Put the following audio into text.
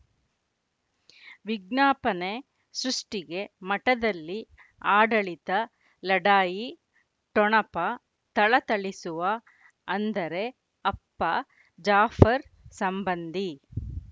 ವಿಜ್ಞಾಪನೆ ಸೃಷ್ಟಿಗೆ ಮಠದಲ್ಲಿ ಆಡಳಿತ ಲಢಾಯಿ ಠೊಣಪ ಥಳಥಳಿಸುವ ಅಂದರೆ ಅಪ್ಪ ಜಾಫರ್ ಸಂಬಂಧಿ